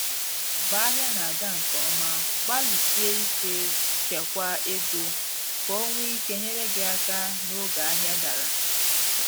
Mgbe ahịa na aga nke ọma, gbalịsie ike chekwaa ego, ka o nwee ike inyere gị aka n’oge ahịa dara